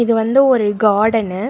இது வந்து ஒரு கார்டனு .